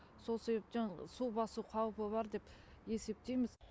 сол себептен су басу қаупі бар деп есептейміз